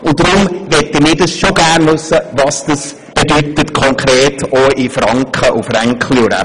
Deshalb möchten wir gerne wissen, was das konkret, auch in Franken, bedeutet.